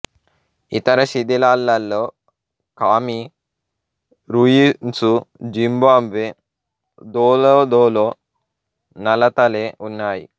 ఇతర శిధిలాలలో Khami ruins Zimbabwe దోలోదోలో నలతలే ఉన్నాయి